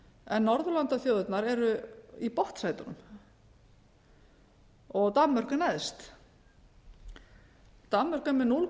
en norðurlandaþjóðirnar eru í botnsætunum og danmörk er neðst danmörk er með núll